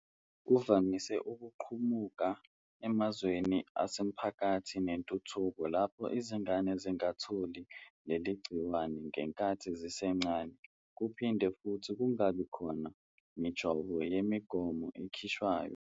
Kuvamise ukuqubuka emazweni asemaphakathi nentuthuko lapho izingane zingalitholi leli gciwane ngenkathi zisencane kuphinde futhi kungabi khona mijovo yemigomo ekhishwayo.